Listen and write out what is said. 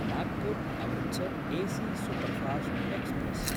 Nagpur Amritsar AC superfast express